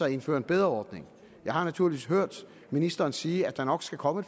indfører en bedre ordning jeg har naturligt hørt ministeren sige at der nok skal komme